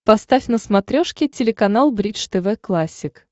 поставь на смотрешке телеканал бридж тв классик